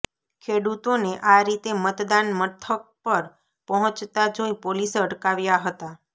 ખેડૂતોને આ રીતે મતદાન મથક પર પહોંચતા જોઇ પોલીસે અટકાવ્યા હતા